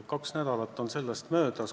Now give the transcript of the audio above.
Kaks nädalat on sellest möödas.